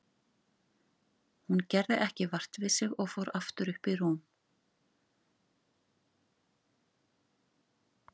Hún gerði ekki vart við sig og fór aftur upp í rúm.